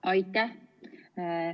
Aitäh!